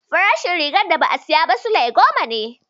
Farashin rigar da ba saya sule goma ne